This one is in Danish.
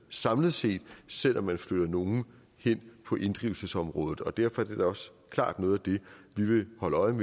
samlet set selv om man flytter nogle hen på inddrivelsesområdet og derfor er det da også klart noget af det vi vil holde øje